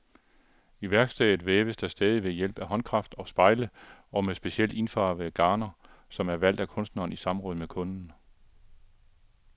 I værkstedet væves der stadig ved hjælp af håndkraft og spejle og med specielt indfarvede garner, som er valgt af kunstneren i samråd med kunden.